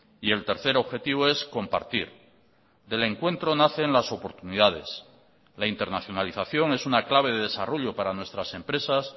y el tercer objetivo es compartir del encuentro nacen las oportunidades la internacionalización es una clave de desarrollo para nuestras empresas